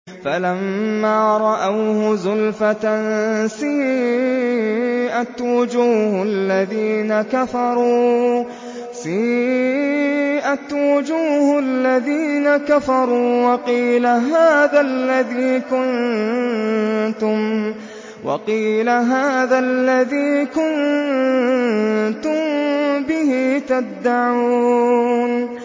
فَلَمَّا رَأَوْهُ زُلْفَةً سِيئَتْ وُجُوهُ الَّذِينَ كَفَرُوا وَقِيلَ هَٰذَا الَّذِي كُنتُم بِهِ تَدَّعُونَ